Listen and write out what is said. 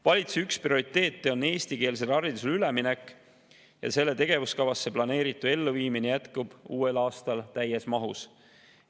Valitsuse üks prioriteet on eestikeelsele haridusele üleminek ja selle tegevuskavas planeeritu elluviimine jätkub uuel aastal täies mahus.